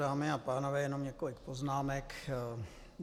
Dámy a pánové, mám několik poznámek.